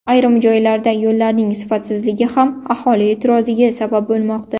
Ayrim joylarda yo‘llarning sifatsizligi ham aholi e’tiroziga sabab bo‘lmoqda.